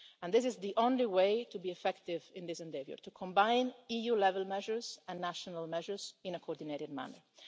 This is the only way to be effective in this endeavour to combine EU-level measures and national measures in a coordinated manner.